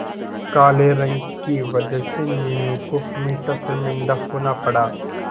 काले रंग की वजह से मीनू को हमेशा शर्मिंदा होना पड़ा